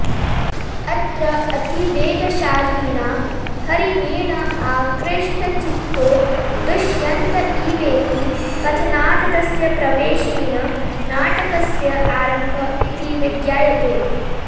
अत्र अतिवेगशालिना हरिणेन आकृष्ठचित्तो दुष्यन्त इवेति कथनात् तस्य प्रवेशेन नाटकस्य आरम्भ इति विज्ञायते